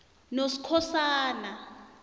noskhosana